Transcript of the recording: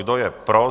Kdo je pro?